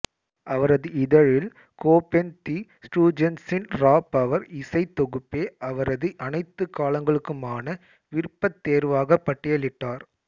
அவரது இதழில் Cobain the ஸ்டூஜஸ்சின் ரா பவர் இசைத் தொகுப்பே அவரது அனைத்து காலங்களுக்குமான விருப்பத் தேர்வாக பட்டியிலிட்டார்